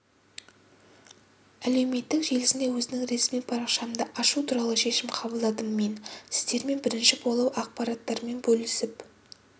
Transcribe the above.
әлеуметтік желісінде өзімнің ресми парақшамды ашу туралы шешім қабылдадым мен сіздермен бірінші болып ақпараттармен бөлісіп